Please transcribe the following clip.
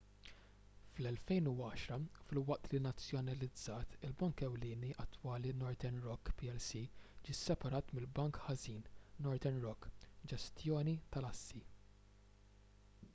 fl-2010 filwaqt li nazzjonalizzat il-bank ewlieni attwali northern rock plc ġie sseparat mill- bank ħażin” northern rock ġestjoni tal-assi